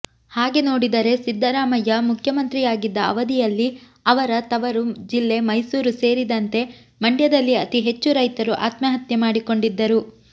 ಹಾಗೆನೋಡಿದರೆ ಸಿದ್ದರಾಮಯ್ಯ ಮುಖ್ಯಮಂತ್ರಿಯಾಗಿದ್ದ ಅವಧಿಯಲ್ಲಿ ಅವರ ತವರು ಜಿಲ್ಲೆ ಮೈಸೂರು ಸೇರಿದಂತೆ ಮಂಡ್ಯದಲ್ಲಿ ಅತಿ ಹೆಚ್ಚು ರೈತರು ಆತ್ಮಹತ್ಯೆ ಮಾಡಿಕೊಂಡಿದ್ದರು